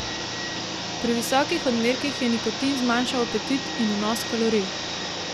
Pri visokih odmerkih je nikotin zmanjšal apetit in vnos kalorij.